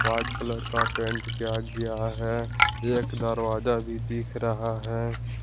White colour का paint किया गया है एक दरवाजा भी दिख रहा है।